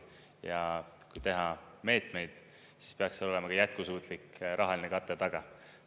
Ja kui teha meetmeid, siis peaks seal olema ka jätkusuutlik rahaline kate taga.